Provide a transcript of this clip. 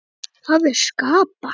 Það er að skapa.